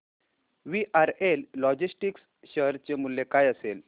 VRL logistics share चे मूल्य काय असेल